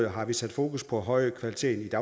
har vi sat fokus på høj kvalitet